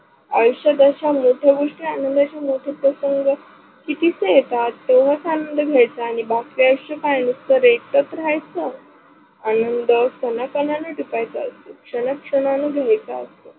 आयुष्यात अशा मोठ्या गोष्टी आनंदाच्या मोठे प्रसंग कितीचं येतात नवाच आनंद भेटणं आणि बाकी आयुष्य काय नुसतं एकटाच राहायचं, आनंद कना कनान जपायेच असत क्षणा क्षणा न घ्यायचा असत